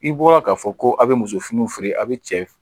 I bɔra k'a fɔ ko a bɛ muso finiw feere a bɛ cɛ